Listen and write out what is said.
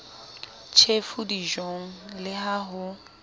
tjhefu dijong le ha ho